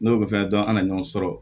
N'o fɛnɛ dɔn an ka ɲɔgɔn sɔrɔ